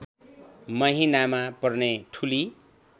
महिनामा पर्ने ठुली